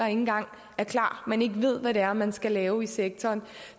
engang er klar man ikke ved hvad det er man skal lave i sektoren